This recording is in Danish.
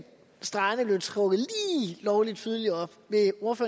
stregerne blev trukket lige lovlig tydeligt op